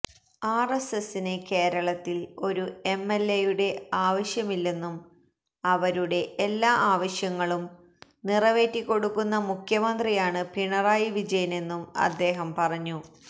ആര്എസ്എസിന് കേരളത്തില് ഒരു എംഎല്എയുടെ ആവസ്യമില്ലെന്നും അവരുടെ എല്ലാ ആവശ്യങ്ങളും നിറവേറ്റിക്കൊടുക്കുന്ന മുഖ്യമന്ത്രിയാണ് പിണറായി വിജയനെന്നും അദ്ദേഹം പറഞ്ഞു